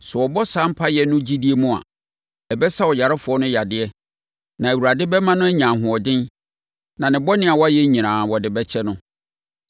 Sɛ wɔbɔ saa mpaeɛ no gyidie mu a, ɛbɛsa ɔyarefoɔ no yadeɛ, na Awurade bɛma no anya ahoɔden, na ne bɔne a wayɛ nyinaa, wɔde bɛkyɛ no.